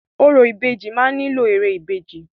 Orò ìbejì máa nílò ère ìbejì.